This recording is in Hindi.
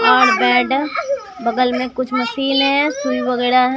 और बगल में कुछ मिट्टी में फूल वगैरह हैं।